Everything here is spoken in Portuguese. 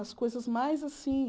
As coisas mais assim...